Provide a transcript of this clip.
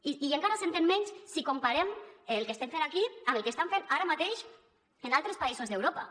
i encara s’entén menys si comparem el que estem fent aquí amb el que estan fent ara mateix en altres països d’europa